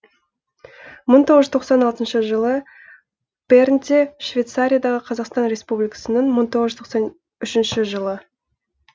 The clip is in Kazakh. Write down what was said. мың тоғыз жүз тоқсан алтыншы жылы бернде швецариядағы қазақстан республикасының мың тоғыз жүз тоқсан үшінші жылы